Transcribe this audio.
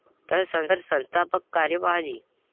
तर संस्थापक कार्यवाह जी.